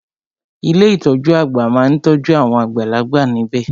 Ilé ìtọjú àgbà má n tọ́jú awon àgbàlagbà níbẹ̀.